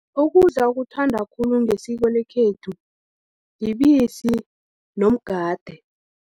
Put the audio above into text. Ukudla okuthanda khulu ngesiko lekhethu, yibisi nomgade.